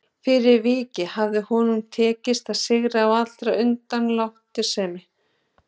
Fyrir vikið hafði honum tekist að sigrast á allri undanlátssemi.